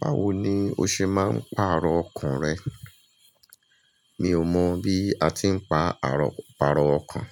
Báwo ni o ṣe máa ń pàrọ̀ ọkan rẹ? Mi ò mọ̀ bí a ti ń pa àrọ̀, pàrọ̀ ọkàn.